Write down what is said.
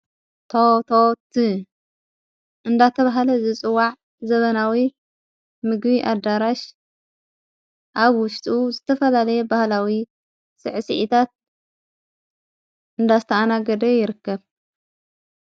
ቶቶት እንዳተ ብሃለ ዝጽዋዕ ዘበናዊ ምግቢ ኣዳራሽ ኣብ ውሽጡ ዝተፈላለየ በህላዊ ስዕ ስዕታት እንዳስተኣና ገደ ይርከብ ::